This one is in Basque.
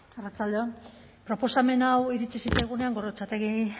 arratsalde on proposamen hau iritsi zitzaigunean gorrotxategi